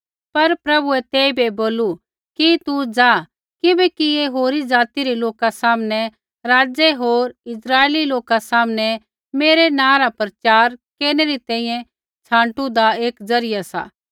पर प्रभुऐ तेइबै बोलू कि तू ज़ा किबैकि ऐ होरी ज़ाति रै लोका सामनै राज़ै होर इस्राइली लोका सामनै मेरै नाँ रा प्रचार केरनै री तैंईंयैं छाँटुदा एक ज़रिया सा